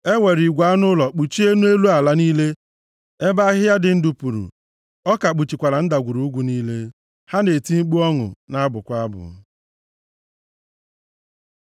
E were igwe anụ ụlọ kpuchie nʼelu ala niile ebe ahịhịa dị ndụ puru, ọka kpuchikwara ndagwurugwu niile; ha na-eti mkpu ọṅụ na-abụkwa abụ.